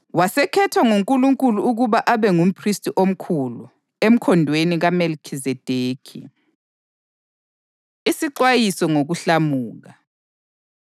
wasekhethwa nguNkulunkulu ukuba abe ngumphristi omkhulu, emkhondweni kaMelikhizedekhi. Isixwayiso Ngokuhlamuka